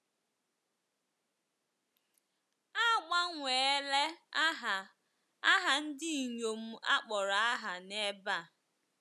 A gbanweela aha aha ndị inyom akpọrọ aha n’ebe a.